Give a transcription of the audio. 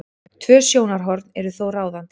Tvö sjónarhorn eru þó ráðandi.